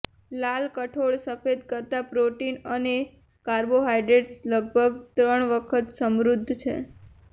લાલ કઠોળ સફેદ કરતાં પ્રોટીન અને કાર્બોહાઇડ્રેડ લગભગ ત્રણ વખત સમૃદ્ધ છે